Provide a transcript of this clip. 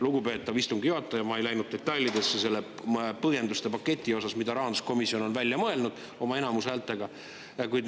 Lugupeetav istungi juhataja, ma ei läinud põhjenduste detailidesse, mida rahanduskomisjon on enamuse välja mõelnud.